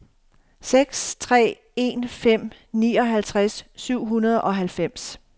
seks tre en fem nioghalvtreds syv hundrede og halvfems